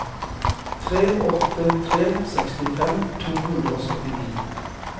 tre åtte tre to sekstifem to hundre og syttini